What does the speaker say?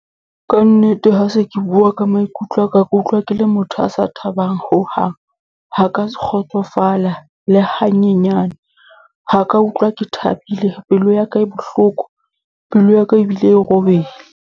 Ka nnete, ha se ke bua ka maikutlo aka ke utlwa ke le motho a sa thabang hohang. Ha ka se kgotsofala le hanyenyane. Ha ka utlwa ke thabile. Pelo ya ka e bohloko, pelo ya ka ebile e robehile.